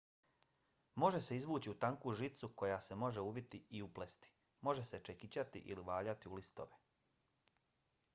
može se izvući u tanku žicu koja se može uviti i uplesti. može se čekićati ili valjati u listove